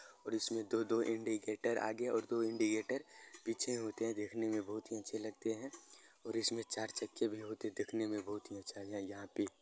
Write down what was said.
और इसमें दो-दो इंडिकेटर आगे और दो इंडिगेटर पीछे होते हैं| देखने में बहोत ही अच्छे लगते हैं और इसमें चार चक्के भी होते दिखने में बहोत अच्छा है यहाँ पे ।